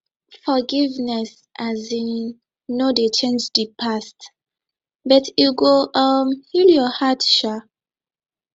forgiveness um no dey change di past but e go um heal yur heart um